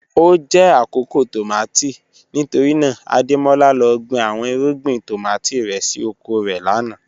O jẹ akoko tomati nitorina Ademola lọ gbin awọn irugbin tomati rẹ si oko rẹ lana